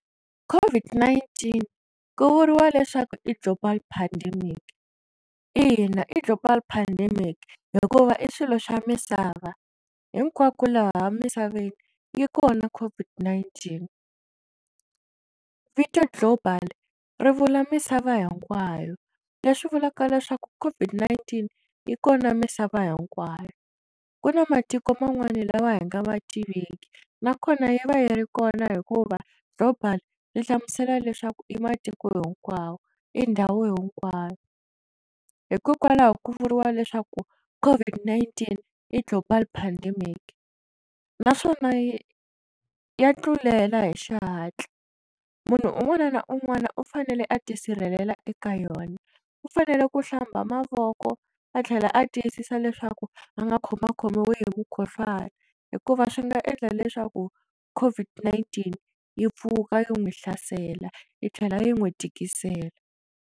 COVID-19 ku vuriwa leswaku i global pandemic ina i global pandemic hikuva i swilo swa misava hinkwako laha misaveni yi kona COVID-19 vito global ri vula misava hinkwayo leswi vulaka leswaku COVID-19 yi kona misava hinkwayo ku na matiko man'wani lawa hi nga va tiveki nakona yi va yi ri kona hikuva global ri hlamusela leswaku i matiko hinkwawo i ndhawu hinkwayo hikokwalaho ku vuriwa leswaku COVID-19 i global pandemic naswona ya tlulela hi xihatla munhu un'wana na un'wana u fanele a tisirhelela eka yona u fanele ku hlamba mavoko a tlhela a tiyisisa leswaku a nga khoma khomiwi hi mukhuhlwani hikuva swi nga endla leswaku COVID-19 yi pfuka yi n'wi hlasela yi tlhela yi n'wi tikisela.